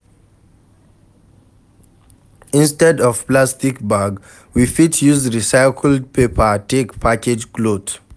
Instead of plastic bag, we fit use recycled paper take package cloth